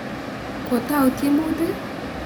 Kootau tiemutik?